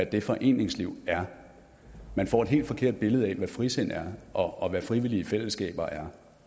det foreningsliv er man får et helt forkert billede af hvad frisind er og hvad frivillige fællesskaber er